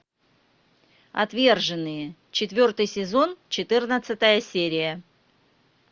отверженные четвертый сезон четырнадцатая серия